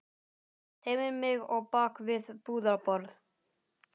Teymir mig á bak við búðarborð.